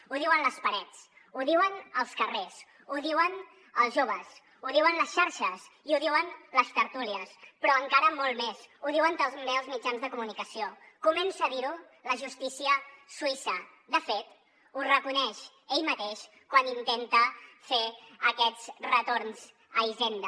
ho diuen les parets ho diuen els carrers ho diuen els joves ho diuen les xarxes i ho diuen les tertúlies però encara molt més ho diuen també els mitjans de comunicació comença a dir ho la justícia suïssa de fet ho reconeix ell mateix quan intenta fer aquests retorns a hisenda